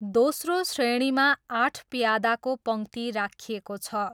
दोस्रो श्रेणीमा आठ प्यादाको पङ्क्ति राखिएको छ।